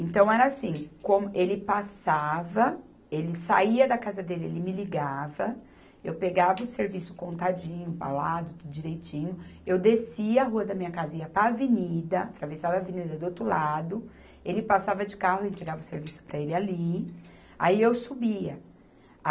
Então, era assim, como ele passava, ele saía da casa dele, ele me ligava, eu pegava o serviço contadinho, embalado, tudo direitinho, eu descia a rua da minha casinha e ia para a avenida, atravessava a avenida do outro lado, ele passava de carro e entregava o serviço para ele ali, aí eu subia.